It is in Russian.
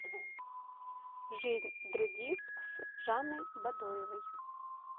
жизнь других с жанной бадоевой